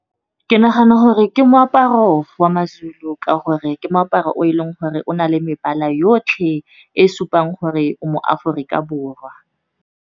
Ke nagana gore ke moaparo wa maZulu, ka gore ke moaparo o e leng gore o na le mebala yotlhe e supang gore o mo Aforika Borwa.